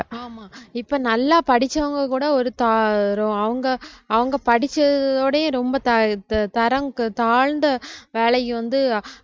ஆமா இப்ப நல்லா படிச்சவங்க கூட ஒரு தா~ அவுங்க அவுங்க படிச்சதோடயே ரொம்ப தா~த~ தரம் தாழ்ந்த வேலைக்கு வந்து